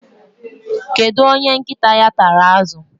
Kedu onye nkịta ya tara azụ